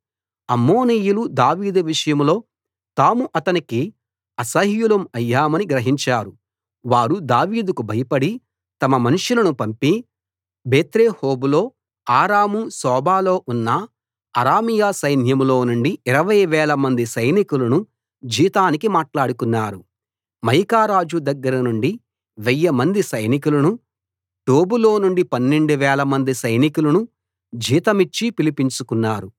అమ్మోనీయులు దావీదు విషయంలో తాము అతనికి అసహ్యులం అయ్యామని గ్రహించారు వారు దావీదుకు భయపడి తమ మనుషులను పంపి బేత్రెహోబులో అరాము సోబాలో ఉన్న అరామీయ సైన్యంలో నుండి ఇరవై వేలమంది సైనికులను జీతానికి మాట్లాడుకున్నారు మయకా రాజు దగ్గరనుండి వెయ్యిమంది సైనికులను టోబులో నుండి పన్నెండు వేలమంది సైనికులను జీతమిచ్చి పిలిపించుకున్నారు